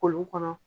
Kolon kɔnɔ